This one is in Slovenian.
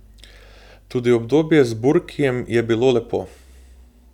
Tudi obdobje z Burkijem je bilo lepo.